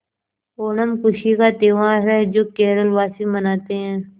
ओणम खुशी का त्यौहार है जो केरल वासी मनाते हैं